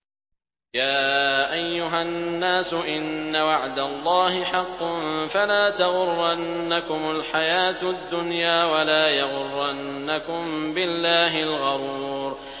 يَا أَيُّهَا النَّاسُ إِنَّ وَعْدَ اللَّهِ حَقٌّ ۖ فَلَا تَغُرَّنَّكُمُ الْحَيَاةُ الدُّنْيَا ۖ وَلَا يَغُرَّنَّكُم بِاللَّهِ الْغَرُورُ